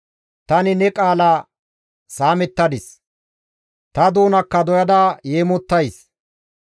Tani ne qaala saamettadis; ta doonakka doyada yeemottays.